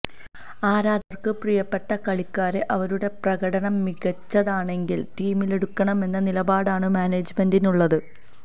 ആരാധകര്ക്ക് പ്രിയപ്പെട്ട കളിക്കാരെ അവരുടെ പ്രകടനം മികച്ചതാണെങ്കില് ടീമിലെടുക്കണമെന്ന നിലപാടാണ് മാനേജ്മെന്റിനുള്ളത്